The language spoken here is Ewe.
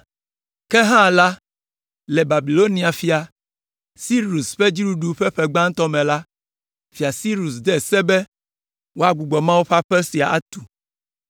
“Ke hã la, le Babilonia fia, Sirus ƒe fiaɖuɖu ƒe ƒe gbãtɔ me la, Fia Sirus de se be woagbugbɔ Mawu ƒe aƒe sia atu.